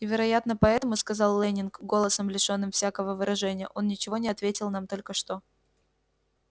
и вероятно поэтому сказал лэннинг голосом лишённым всякого выражения он ничего не ответил нам только что